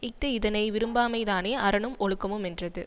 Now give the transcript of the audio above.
இஃது இதனை விரும்பாமைதானே அறனும் ஒழுக்கமுமென்றது